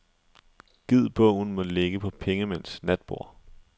Gid bogen må ligge på pengemænds natborde.